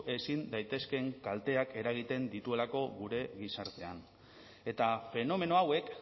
ezin daitezkeen kalteak eragiten dituelako gure gizartean eta fenomeno hauek